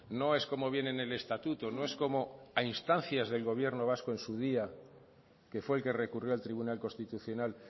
no es como viene en el estatuto no es como a instancias del gobierno vasco en su día que fue el que recurrió al tribunal constitucional